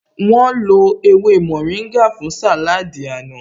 Wọ́n lo ewé mórìngà fún sàláádì àná